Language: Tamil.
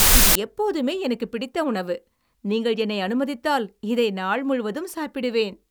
இது எப்போதுமே எனக்கு பிடித்த உணவு, நீங்கள் என்னை அனுமதித்தால், இதை நாள் முழுவதும் சாப்பிடுவேன்.